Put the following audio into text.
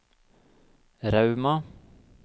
Rauma